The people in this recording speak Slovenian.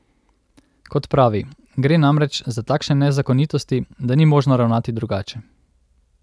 Kot pravi, gre namreč za takšne nezakonitosti, da ni možno ravnati drugače.